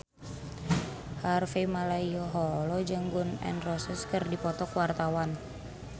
Harvey Malaiholo jeung Gun N Roses keur dipoto ku wartawan